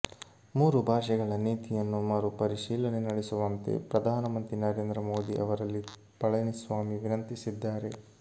ಮೂರು ಭಾಷೆಗಳ ನೀತಿಯನ್ನು ಮರು ಪರಿಶೀಲನೆ ನಡೆಸುವಂತೆ ಪ್ರಧಾನಮಂತ್ರಿ ನರೇಂದ್ರ ಮೋದಿ ಅವರಲ್ಲಿ ಪಳನಿ ಸ್ವಾಮಿ ವಿನಂತಿಸಿದ್ದಾರೆ